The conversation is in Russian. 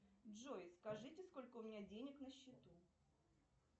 джой скажите сколько у меня денег на счету